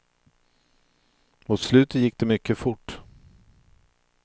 Mot slutet gick det mycket fort.